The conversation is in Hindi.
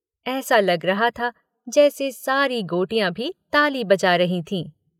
ऐसा लग रहा था जैसे सारी गोटियाँ भी ताली बजा रही थीं।